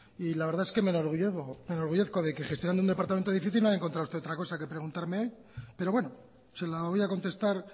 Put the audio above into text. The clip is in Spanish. y la verdad es que me enorgullezco de que gestionando un departamento difícil no haya encontrado otra cosa que preguntarme hoy pero bueno se la voy a contestar